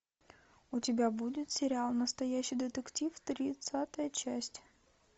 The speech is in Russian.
у тебя будет сериал настоящий детектив тридцатая часть